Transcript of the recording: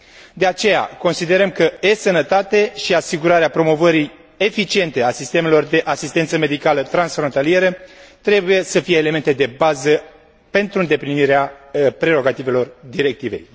De aceea, considerăm că e sănătate și asigurarea promovării eficiente a sistemelor de asistență medicală transfrontalieră trebuie să fie elemente de bază pentru îndeplinirea prerogativelor Directivei.